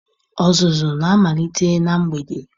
Ọzụzụ na-amalite na mgbede.